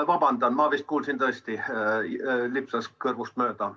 Ma vabandan, mul vist tõesti lipsas kõrvust mööda.